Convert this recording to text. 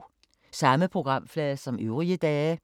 Samme programflade som øvrige dage